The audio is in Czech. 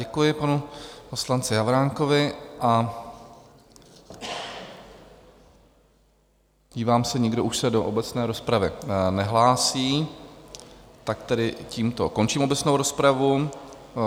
Děkuji panu poslanci Havránkovi a dívám se - nikdo už se do obecné rozpravy nehlásí, tak tedy tímto končím obecnou rozpravu.